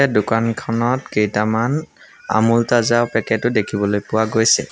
এই দোকানখনত কেইটামান আমূল তাজা পেকেট ও দেখিবলৈ পোৱা গৈছে।